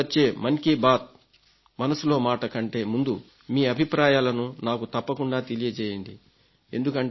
మళ్లీ వచ్చే మన్ కీ బాత్ మనసులో మాట కంటే ముందే మీ అభిప్రాయాలను నాకు తప్పకుండా తెలియజేయండి